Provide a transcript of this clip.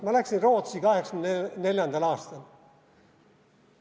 Ma läksin Rootsi 1984. aastal.